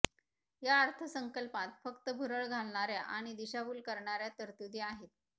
या अर्थसंकल्पात फक्त भूरळ घालणाऱ्या आणि दिशाभूल करणाऱ्या तरतूदी आहेत